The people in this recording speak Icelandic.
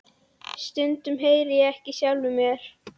Stundum heyri ég ekki í sjálfum mér.